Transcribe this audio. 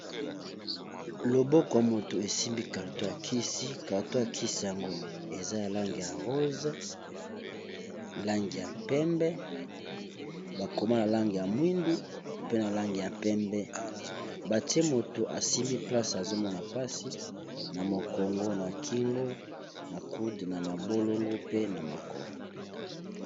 Loboko yamoto esimbi Carton yakisi Carton yakisiyango eza nalangi ya rosé langi ya pembe bakoma nalangi ya mwindu pe nalangi ya pembe batiye mutu asimbi placé azomona pasi namokongo nakingo nacude namabolongo pe namakolo